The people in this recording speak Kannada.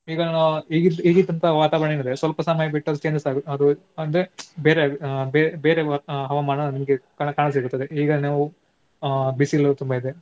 ಈಗ ನಾ~ ಈಗಿದ್~ ಈಗಿದ್ದಂತಹ ವಾತಾವರಣ ಏನಿದೆ ಸ್ವಲ್ಪ ಸಮಯ ಬಿಟ್ಟು ಅದು changes ಅದು ಅಂದ್ರೆ ಬೇರೆಯ~ ಬೇ~ ಬೇರೆ ಹವಾಮಾನ ನಿಮ್ಗೆ ಕಾಣ~ ಕಾಣ ಸಿಗುತ್ತದೆ. ಈಗ ನಾವು ಆಹ್ ಬಿಸಿಲು ತುಂಬಾ ಇದೆ.